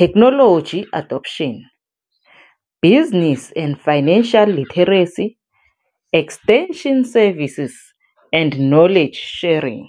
technology adoption, business and financial literacy, extension services and knowledge sharing.